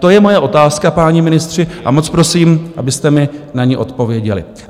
To je moje otázka, páni ministři, a moc prosím, abyste mi na ni odpověděli.